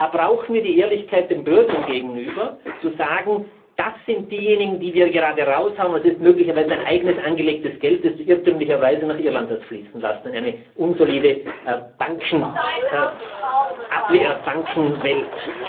Da brauchen wir die Ehrlichkeit den Bürgern gegenüber, zu sagen Das sind diejenigen, die wir gerade heraushauen, und es ist möglicherweise Dein eigenes angelegtes Geld, das Du irrtümlicherweise nach Irland hast fließen lassen, in eine unsolide Bankenwelt.